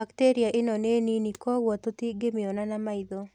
Bacteria ĩno nĩ nini kwogũo tũtĩngĩmĩona na maitho